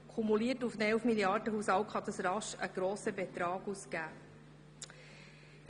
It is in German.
Kumuliert auf einen Elf-Milliarden-Haushalt kann so rasch ein grosser Betrag zusammenkommen.